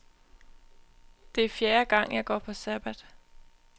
Det er fjerde gang, jeg går på sabbat.